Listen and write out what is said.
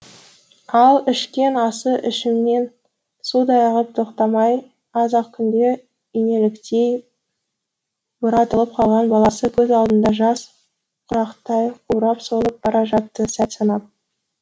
ал ішкен асы ішінен судай ағып тоқтамай аз ақ күнде инеліктей бұратылып қалған баласы көз алдында жас құрақтай қурап солып бара жатты сәт санап